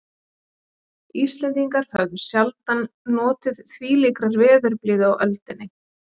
Íslendingar höfðu sjaldan notið þvílíkrar veðurblíðu á öldinni.